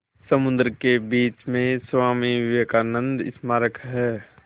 समुद्र के बीच में स्वामी विवेकानंद स्मारक है